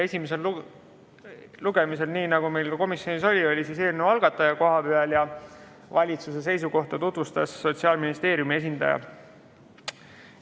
Esimesel lugemisel, nii nagu meil ka komisjonis, oli eelnõu algataja kohapeal ja valitsuse seisukohta tutvustas Sotsiaalministeeriumi esindaja.